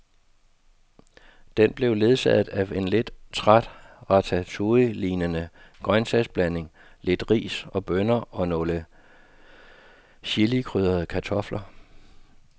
Den blev ledsaget af en lidt træt ratatouillelignende grøntsagsblanding, lidt ris og bønner og nogle chilikrydrede kartofler.